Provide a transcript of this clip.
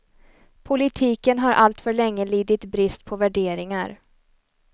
Politiken har alltför länge lidit brist på värderingar.